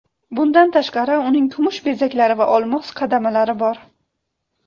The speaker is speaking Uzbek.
Bundan tashqari, uning kumush bezaklari va olmos qadamalari bor.